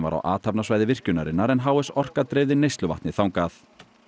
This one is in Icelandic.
var á athafnasvæði virkjunarinnar en h s Orka dreifði neysluvatni þangað